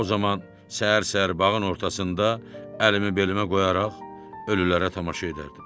O zaman səhər-səhər bağın ortasında əlimi belimə qoyaraq ölülərə tamaşa edərdim.